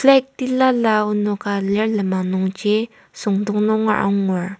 flag tilala enoka lir lenmang nungji süngdong nungera angur.